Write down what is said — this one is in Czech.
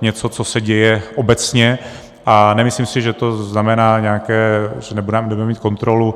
něco, co se děje obecně, a nemyslím si, že to znamená nějaké, že nebudeme mít kontrolu.